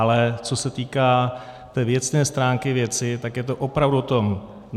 Ale co se týká té věcné stránky věci, tak je to opravdu o tom.